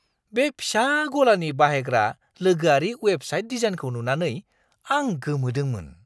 बे फिसा-गलानि बाहायग्रा लोगोआरि वेबसाइट डिजाइनखौ नुनानै आं गोमोदोंमोन।